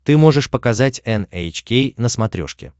ты можешь показать эн эйч кей на смотрешке